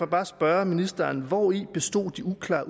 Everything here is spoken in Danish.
bare spørge ministeren hvori består det uklare